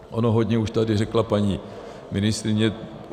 Ono hodně už tady řekla paní ministryně.